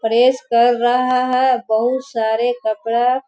Press कर रहा है बहुत सारे कपड़ा।